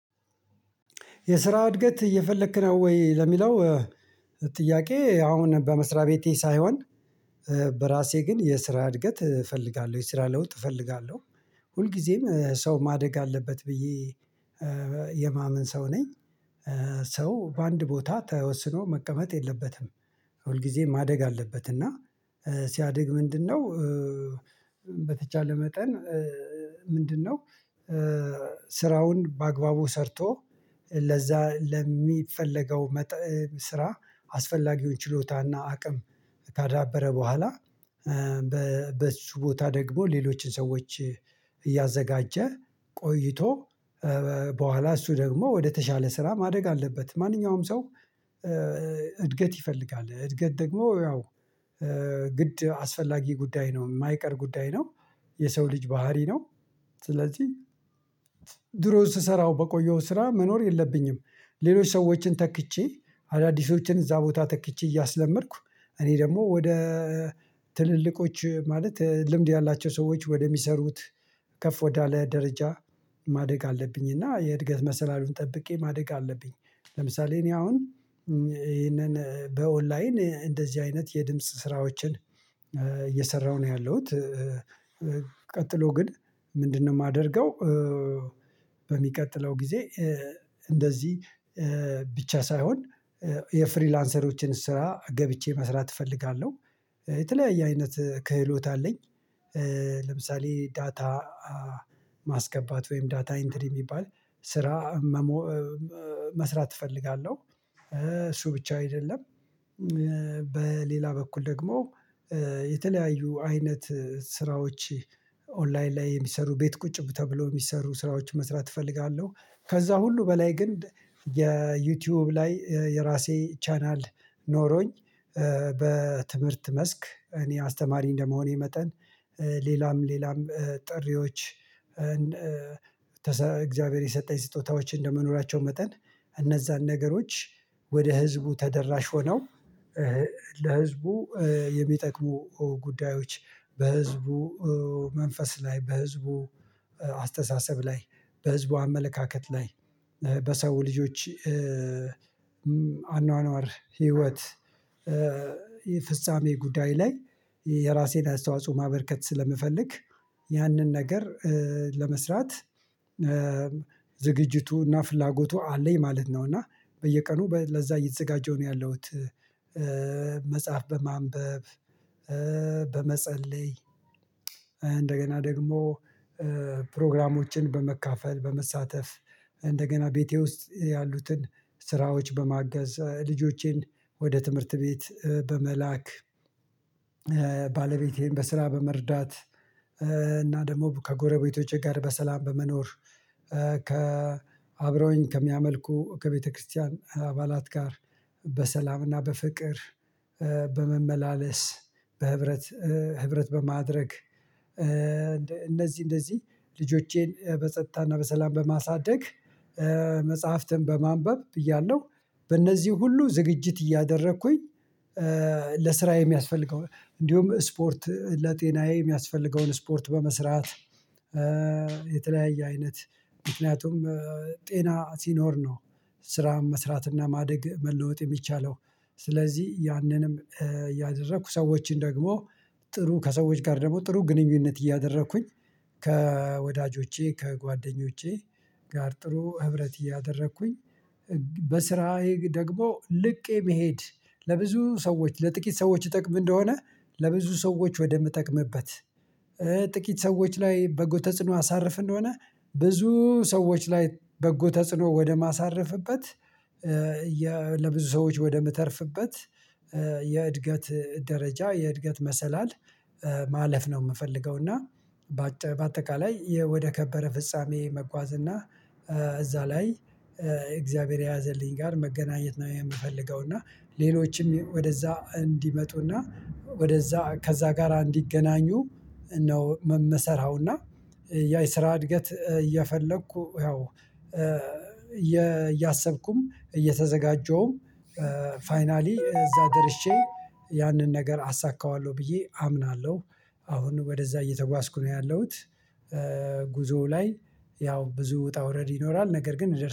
የስራ እድገት እየፈለክ ነው ወይ? ለሚለው እ ጥያቄ አሁን በመስሪያ ቤቴ ሳይሆን እ በራሴ ግን የስራ እድገት እ እፈልጋለሁ የስራ ለውጥ እፈልጋለሁ። ሁልጊዜም እ ሰው ማደግ አለበት ብዬ እ የማመን ሰው ነኝ። እ ሰው በአንድ ቦታ ተወስኖ መቀመጥ የለበትም። ሁልጊዜ ማደግ አለበት። እና እ ሲያድግ ምንድነው እእ በተቻለ መጠን እእ ምንድን ነው? እ ስራውን በአግባቡ ሰርቶ ለዛ ለሚፈለገው መጠን ስራ አስፈላጊውን ችሎታና አቅም ካዳበረ በኋላ። እ በ በሱ ቦታ ደግሞ ሌሎችን ሰዎች እያዘጋጀ ቆይቶ እ በኋላ እሱ ደግሞ ወደተሻለ ስራ ማደግ አለበት። ማንኛውም ሰው እ እድገት ይፈልጋል እድገት ደግሞ ያው እ ግድ አስፈላጊ ጉዳይ ነው የማይቀር ጉዳይ ነው። የሰው ልጅ ባህሪ ነው። ስለዚህ ድሮ ስሰራው በቆየውት ስራ መኖር የለብኝም። ሌሎች ሰዎችን ተክቼ አዳዲሶችን እዛ ቦታ ተክቼ እያስለመድኩ እኔ ደግሞ ወደ ትልልቆች ማለት ልምድ ያላቸው ሰዎች ወደሚሰሩት ከፍ ወዳለ ደረጃ ማደግ አለብኝ። እና የእድገት መሰላሉን ጠብቄ ማደግ አለብኝ። ለምሳሌ እኔ አሁን እ ይሄንን በኦንላይን እ እንደዚህ አይነት የድምጽ ስራዎችን እ እየሰራሁ ነው ያለሁት እ ቀጥሎ ግን ምንድን ነው ማደርገው? እ በሚቀጥለው ጊዜ እ እንደዚህ እ ብቻ ሳይሆን እ የፍሪላንሰሮችን ስራ ገብቼ መስራት እፈልጋለሁ። የተለያየ አይነት ክህሎት አለኝ። ለምሳሌ ዳታ ማስገባት ወይም ዳታ ኢንትሪ የሚባል ስራ መስራት እፈልጋለሁ። እሱ ብቻ አይደለም። በሌላ በኩል ደግሞ የተለያዩ አይነት ስራዎች ኦንላይን ላይ የሚሰሩ ቤት ቁጭ ብ ተብሎ የሚሰሩ ስራዎችን መስራት እፈልጋለሁ። ከዛ ሁሉ በላይ ግን የዩቲዩብ ላይ የራሴ ቻናል ኖሮኝ በትምህርት መስክ እኔ አስተማሪ እንደመሆኔ መጠን ሌላም ሌላም ጥሪዎች እግዚአብሔር የሰጠኝ ስጦታዎችን እንደመኖራቸው መጠን እነዛን ነገሮች ወደ ህዝቡ ተደራሽ ሆነው ለህዝቡ የሚጠቅሙ ጉዳዮች በህዝቡ መንፈስ ላይ በህዝቡ አስተሳሰብ ላይ በህዝቡ አመለካከት ላይ በሰው ልጆች አኗኗር ህይወት የፍጻሜ ጉዳይ ላይ የራሴን አስተዋጽኦ ማበርከት ስለምፈልግ። ያንን ነገር ለመስራት ዝግጅቱና ፍላጎቱ አለኝ ማለት ነው። እና በየቀኑ ለዛ የተዘጋጀው ነው ያለሁት። መጽሐፍ በማንበብ በመጸለይ እንደገና ደግሞ ፕሮግራሞችን በመካፈል በመሳተፍ እንደገና ቤቴ ውስጥ ያሉትን ስራዎች በማገዝ ልጆቼን ወደ ትምህርት ቤት በመላክ ባለቤቴን በስራ በመርዳት እና ደግሞ ከጎረቤቶቼ ጋር በሰላም በመኖር ከአብረውኝ ከሚያመልኩ ከቤተክርስቲያን አባላት ጋር በሰላምና በፍቅር በመመላለስ በህብረት ህብረት በማድረግ እንደዚህ እንደዚህ ልጆቼን በጸጥታና በሰላም በማሳደግ መጽሐፍትን በማንበብ ብያለሁ በእነዚህ ሁሉ ዝግጅት እያደረኩኝ ለስራ የሚያስፈልገውን እንዲሁም ስፖርት ለጤናዬ የሚያስፈልገውን ስፖርት በመስራት የተለያየ አይነት ምክንያቱም ጤና ሲኖር ነው ስራ መስራትና ማደግ መለወጥ የሚቻለው። ስለዚህ ያንንም ያደረኩ ሰዎችን ደግሞ ጥሩ ከሰዎች ጋር ደግሞ ጥሩ ግንኙነት እያደረኩኝ ከወዳጆቼ ከጓደኞቼ ጋር ጥሩ ህብረት እያደረኩኝ በስራዬ ደግሞ ልቄ መሄድ ለብዙ ሰዎች ለጥቂት ሰዎች ይጠቅም እንደሆነ ለብዙ ሰዎች ወደምትጠቅምበት ጥቂት ሰዎች ላይ በጎ ተጽዕኖ አሳርፍ እንደሆነ ብዙ ሰዎች ላይ በጎ ተጽዕኖ ወደማሳርፍበት። ለብዙ ሰዎች ወደምተርፍበት የእድገት ደረጃ የእድገት መሰላል ማለፍ ነው የምፈልገው። እና በአጠቃላይ ወደ ከበረ ፍጻሜ መጓዝ እና እዛ ላይ እግዚአብሔር የያዘልኝ ጋር መገናኘት ነው የምፈልገው። እና ሌሎችም ወደዛ እንዲመጡና ወደዛ ከዛ ጋራ እንዲገናኙ ነው ምመሰራው እና ያ የስራ እድገት እየፈለኩ ያው እያሰብኩም እየተዘጋጀሁም ፋይናሊ እዛ ደርሼ ያንን ነገር አሳካዋለሁ ብዬ አምናለሁ። አሁን ወደዛ እየተጓዝኩ ነው ያለሁት። ጉዞው ላይ ያው ብዙ ውጣ ውረድ ይኖራል ነገር ግን